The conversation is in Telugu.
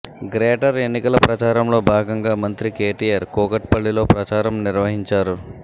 గ్రేటర్ ఎన్నికల ప్రచారంలో భాగంగా మంత్రి కేటీఆర్ కూకట్ పల్లిలో ప్రచారం నిర్వహించారు